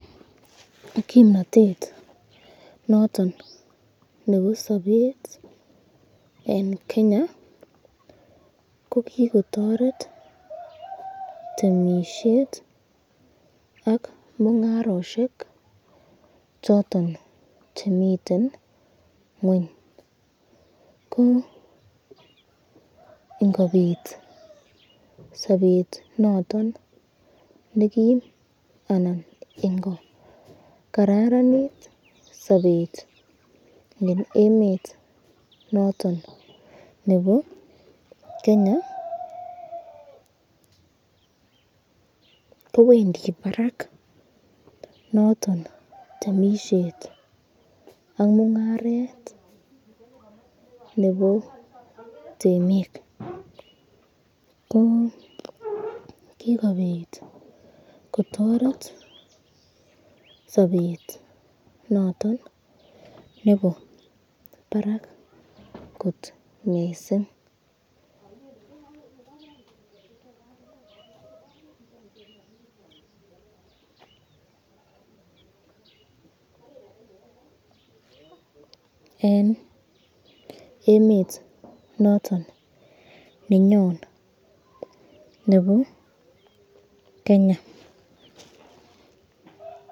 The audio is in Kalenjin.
Kimnatet noton nebo sabet eng Kenya ko kikotoret temisyet ak mungaroshek choton chemiten ngweny, ko ingobit sabet noton nekim an